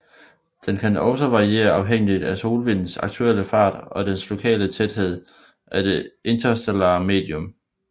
Den kan også variere afhængigt af solvindens aktuelle fart og den lokale tæthed af det interstellare medium